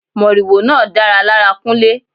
Moriwo náà dára lára Kunle.